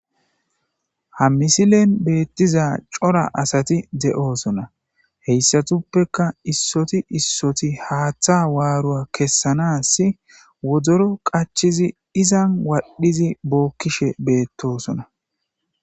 Ha misilen beettiza cora asati de'oosona heyssatuppeka issoti issoti haaththa waarua kessanas wodoro qachizi izan wadhdhizi bookkishe beettosona